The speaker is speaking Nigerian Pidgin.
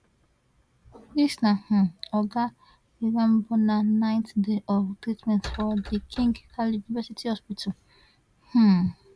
dis na um oga irambona ninth day of treatment for di king khaled university hospital um